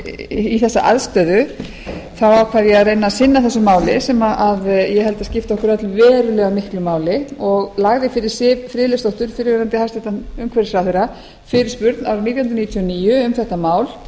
í þessa aðstöðu ákvað ég að reyna að sinna þessu máli sem ég held að skipti okkur öll verulega miklu máli og lagði fyrir siv friðleifsdóttur fyrrverandi hæstvirtur umhverfisráðherra fyrirspurn árið nítján hundruð níutíu og níu um þetta mál